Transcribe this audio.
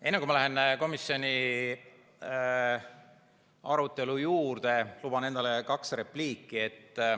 Enne kui ma lähen komisjoni arutelu juurde, luban endale kaks repliiki.